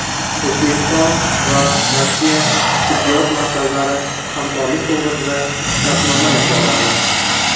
O‘zbekiston va Rossiya tibbiyot markazlari hamkorlik to‘g‘risida shartnoma imzoladi.